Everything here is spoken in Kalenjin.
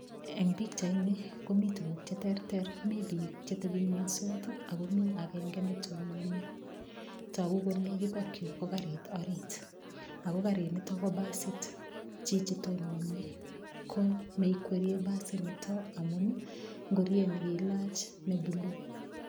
Eng pichaini komi tukuk che terter, mi piik cheteping'wensot akomi agenge netononi. Togu kole, yutokyu ko karit ori, ako karinitok ko basit. Chichi tononi ko neikweriei basitnitok amun ngoriet nekailach nebulu.